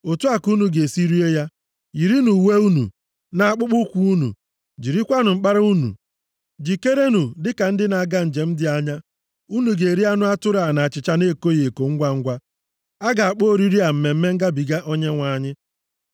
Otu a ka unu ga-esi rie ya: yirinụ uwe unu, na akpụkpọụkwụ unu. + 12:11 Akpụkpọụkwụ na belịt abụghị ihe ndị mmadụ na-eyi mgbe ọbụla ha nọ nʼụlọ. Mgbe ụmụ Izrel yiri ha, ha na-ezipụta okwukwe na olileanya ha nwere banyere ọpụpụ ha site nʼala Ijipt. Jirikwanụ mkpara unu. Jikerenụ dịka ndị na-aga njem dị anya. Unu ga-eri anụ atụrụ a na achịcha na-ekoghị eko ngwangwa. A ga-akpọ oriri a Mmemme Ngabiga Onyenwe anyị.